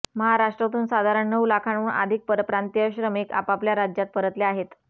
महाराष्ट्रातून साधारण नऊ लाखांहून अधिक परप्रांतीय श्रमिक आपापल्या राज्यात परतले आहेत